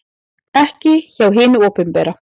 Ekki hjá hinu opinbera.